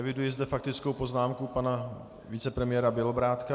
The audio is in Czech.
Eviduji zde faktickou poznámku pana vicepremiéra Bělobrádka.